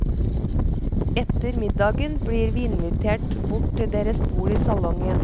Etter middagen blir vi invitert bort til deres bord i salongen.